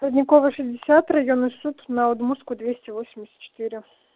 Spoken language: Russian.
родниковая шестьдесят районный суд на удмуртской двести восемьдесят четыре